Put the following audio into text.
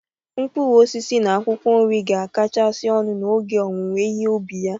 Mkpụrụ osisi na akwụkwọ nri ga-akacha ọnụ n'oge owuwe ihe ubi ha